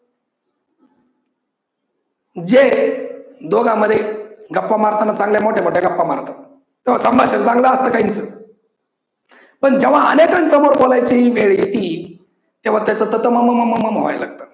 जे दोघांमध्ये गप्पा मारतांना चांगल्या मोठ्या मोठ्या गप्प्पा मारतात, थोड संभाषण चांगल असतं काही काहींच पण जेव्हा अनेकांसमोर बोलायची वेळ येती तेव्हा त्याच त त म म म म व्हायला लागतं.